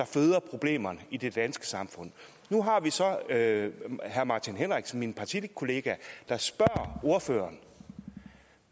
føder problemerne i det danske samfund nu har vi så herre martin henriksen min partikollega der spørger ordføreren